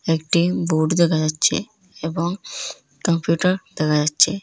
একটি বোর্ড দেখা যাচ্ছে এবং কম্পিউটার দেখা যাচ্ছে।